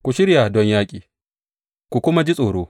Ku shirya don yaƙi, ku kuma ji tsoro!